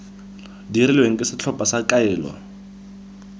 dirilweng ke setlhopha sa kaelo